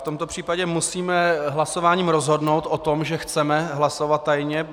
V tomto případě musíme hlasováním rozhodnout o tom, že chceme hlasovat tajně.